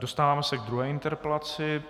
Dostáváme se k druhé interpelaci.